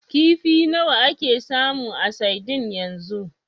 Kifi nawa ake samu a sadin yanzu?